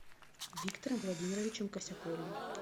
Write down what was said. виктором владимировичем косяковым